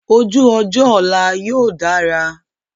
Ojú ọjọ́ ọ̀la yóò dára.